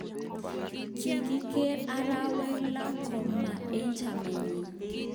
Kikiger arawek lo koma eng chamenyin.